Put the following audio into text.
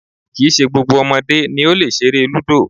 Kì í ṣe gbogbo ọmọdé ni ó lè ṣeré lúdò